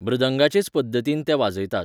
मृदंगाचेच पद्दतीन तें वाजयतात.